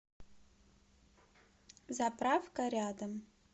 заправка рядом